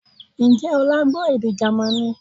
Ǹjẹ́ ọlá gbọ́ èdè Jamaní?